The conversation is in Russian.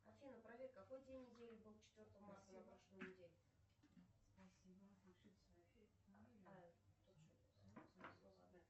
афина проверь какой день недели был четвертого марта на прошлой неделе